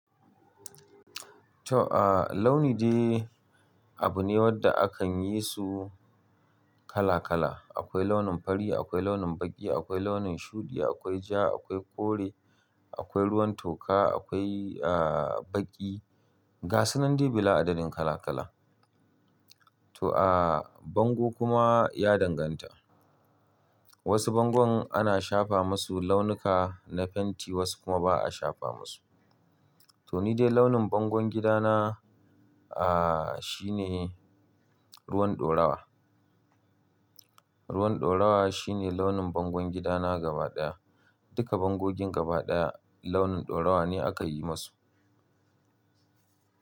To, a launi dai abu ne wanda akan yi su kala kala. Akwai launin fari, akwai launin baƙi, akwai launin shuɗi, akwai ja, akwai kore, akwai ruwan toka, akwai, a, baƙi. Gasunan dai bila adadin kala kala. To a bango kuma ya danganta. Wasu bangon ana shafa masu launuka na fenti, wasu kuma ba'a shafa masu. To ni dai launin bangon gidana, ah, shi ne ruwan ɗorawa. Ruwan ɗorawa shi ne launin bangon gidana gaba ɗaya. Duka bangogin gaba ɗaya launin ɗorawa ne aka yi masu.